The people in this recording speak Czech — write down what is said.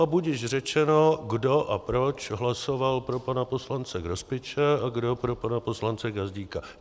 A budiž řečeno, kdo a proč hlasoval pro pana poslance Grospiče a kdo pro pana poslance Gazdíka.